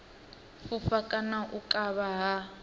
fhufha kana u kavha ha